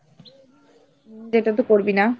যেটা তো করবি না।